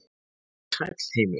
Vertu sæll, heimur.